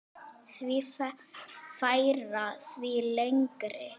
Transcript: Því færra, því lengri.